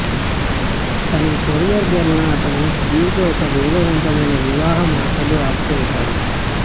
తన career girl న అతను సుదీర్ఘ ఒక వేగవంతమైన వివాహం ఆశలు అప్ ఇచ్చారు